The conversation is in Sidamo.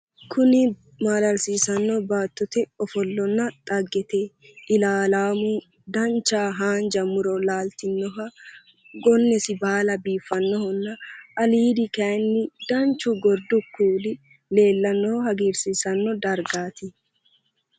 kunni maalalsiissanno baattote offollonna dhaggete iilallammu dancha haanja muro laaltinoha gonnesi baala biiffannoha aliido kayiinni danchu gordu kuuli leellannoha hagiirsiissanno dargaati.